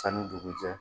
Sanni dugu cɛ